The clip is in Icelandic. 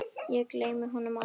Ég gleymi honum aldrei.